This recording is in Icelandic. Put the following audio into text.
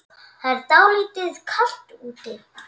Það er dálítið kalt úti.